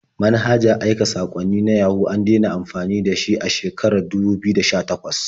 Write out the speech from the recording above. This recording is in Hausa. Manhajar aika saƙwanni na Yahoo an dena amfani da shi a shekarar dubu biyu da sha-takwas.